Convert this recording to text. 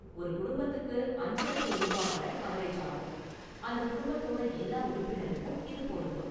ஒரு குடும்பத்துக்கு அஞ்சு லெட்சம் ரூபா வர கவரேஜ் ஆகும், அந்த குடும்பத்தோட எல்லா உறுப்பினருக்கும் இது பொருந்தும்.